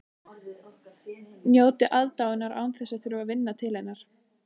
Njóta aðdáunar án þess að þurfa að vinna til hennar.